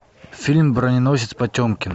фильм броненосец потемкин